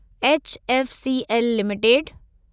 HFCL limited